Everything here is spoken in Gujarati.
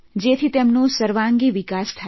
જેથી તેમનો સર્વાંગી વિકાસ થાય